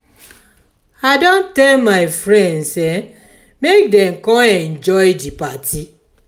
i don tell my friends make dem come enjoy di party.